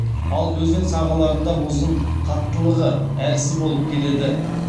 ал өзен сағаларында мұздың қаттылығы әлсіз болып келеді